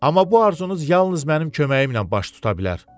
Amma bu arzunuz yalnız mənim köməyimlə baş tuta bilər.